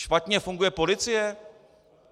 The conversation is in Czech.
Špatně funguje policie?